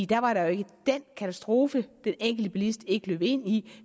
da var der jo ikke den katastrofe den enkelte bilist ikke løb ind i